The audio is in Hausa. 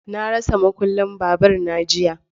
Na rasa makullin babur na jiya.